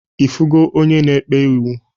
Ifugo onye na-ekpe iwu?